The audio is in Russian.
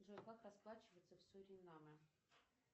джой как расплачиваться в суринаме